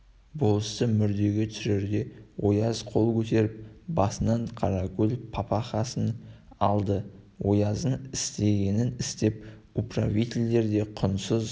болысты мүрдеге түсірерде ояз қол көтеріп басынан қаракөл папахасын алды ояздың істегенін істеп управительдер де құндыз